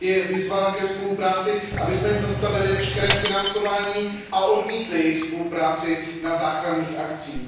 vyzvala ke spolupráci, abychom jim zastavili veškeré financování a odmítli jejich spolupráci na záchranných akcích.